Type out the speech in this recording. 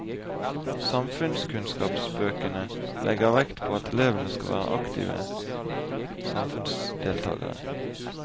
Samfunnskunnskapsbøkene legger vekt på at elevene skal være aktive samfunnsdeltakere.